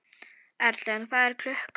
Erlen, hvað er klukkan?